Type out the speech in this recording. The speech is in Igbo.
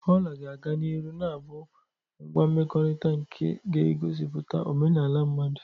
Ola ga-aga n'ihu na-abụ ngwa mmekọrịta nke ga-egosipụta omenala mmadụ.